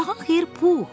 Sabahın xeyir, Pux!